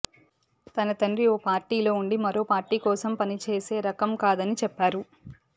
తన తండ్రి ఓ పార్టీలో ఉండి మరో పార్టీ కోసం పని చేసే రకం కాదని చెప్పారు